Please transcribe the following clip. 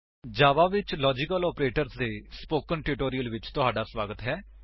ਜਾਵਾ ਵਿੱਚ logical operators ਦੇ spoken tutorial ਵਿੱਚ ਤੁਹਾਡਾ ਸਵਾਗਤ ਹੈ